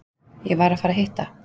Ég var að fara að hitta